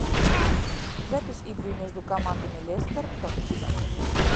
запись игры между командами лестер тоттенхэм